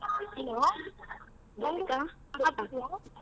Hello .